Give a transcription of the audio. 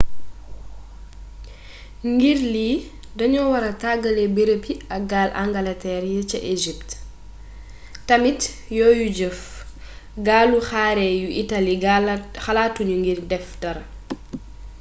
ngir lii dañoo wara tàggale bërëb yi ak gaal angalteer yi ca isipt tamit yoyu jëf gaalu xare yu itaali xalaatuñu ngir def dara